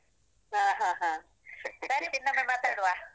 ಹ ಹ ಹ. ಸರಿ ಸರಿ ಇನ್ನೊಮ್ಮೆ ಮಾತಾಡುವ.